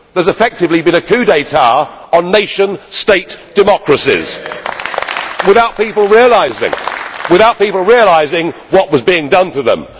There has effectively been a coup d'état on nation state democracies without people realising, without people realising what was being done to them.